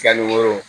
Yanni woro